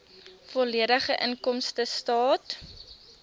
volledige inkomstestaat